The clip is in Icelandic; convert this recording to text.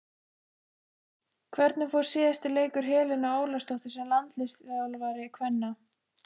Hvernig fór síðasti leikur Helenu Ólafsdóttur sem landsliðsþjálfari kvenna?